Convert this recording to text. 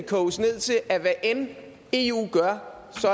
koges ned til at hvad end eu gør